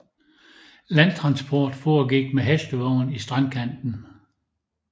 Landtransport foregik med hestevogn i strandkanten